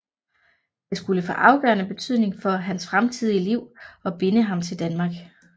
Det skulle få afgørende betydning for hans fremtidige liv og binde ham til Danmark